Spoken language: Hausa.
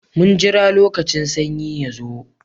Mun jira lokacin sanyi ya zo.